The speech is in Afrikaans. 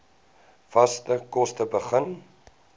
vaste kos begin